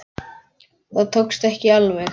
Þetta tókst ekki alveg.